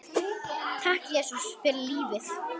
Og takk, Jesús, fyrir lífið.